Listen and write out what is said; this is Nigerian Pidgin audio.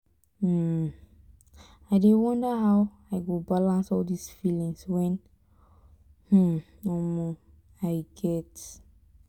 um i dey wonder how i go balance all dis feelings wey um i get